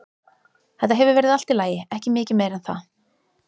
Þetta hefur verið allt í lagi, ekki mikið meira en það.